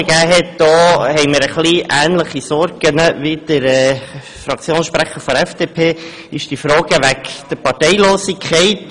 Hingegen hatten wir ähnliche Sorgen wie Grossrat Klopfenstein betreffend die Parteilosigkeit.